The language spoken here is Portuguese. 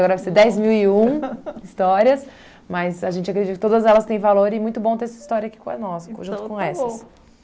vai ser dez mil e um histórias, mas a gente acredita que todas elas têm valor e muito bom ter essa história aqui conosco junto com essas.